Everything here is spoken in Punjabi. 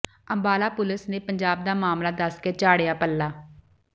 ਅੰਬਾਲਾ ਪੁਲਿਸ ਨੇ ਪੰਜਾਬ ਦਾ ਮਾਮਲਾ ਦੱਸ ਕੇ ਝਾੜਿਆ ਪੱਲਾ